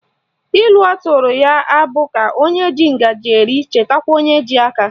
Ilu ọtụrụ ya abụ ka o ji ngaji eri chetakwa onye ji aka?